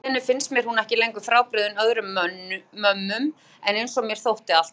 Og alltíeinu finnst mér hún ekki lengur frábrugðin öðrum mömmum einsog mér þótti alltaf áður.